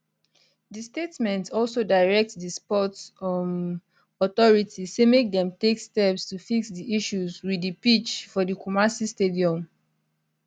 di statement also direct di sports um authority say make dem take steps to fix di issues wit di pitch for di kumasi stadium